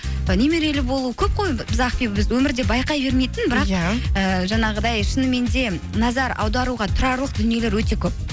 і немерелі болу көп қой біз ақбибі біз өмірде байқай бермейтін бірақ ыыы жаңағыдай шынымен де назар аударуға тұрарлық дүниелер өте көп